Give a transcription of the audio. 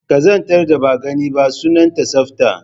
Ƙazantar da ba a gani ba, sunanta tsafta